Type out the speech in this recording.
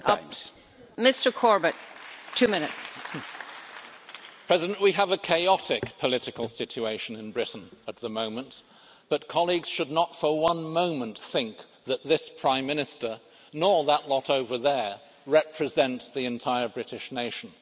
Madam President, we have a chaotic political situation in Britain at the moment, but colleagues should not for one moment think that this Prime Minister, nor that lot over there, represent the entire British nation.